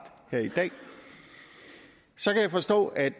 her i dag så kan jeg forstå at